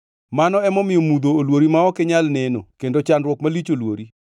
Mano emomiyo mudho olwori ma ok inyal neno kendo chandruok malich olwori.